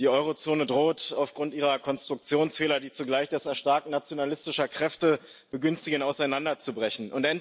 Die Euro Zone droht aufgrund ihrer Konstruktionsfehler, die zugleich das Erstarken nationalistischer Kräfte begünstigen, auseinanderzubrechen.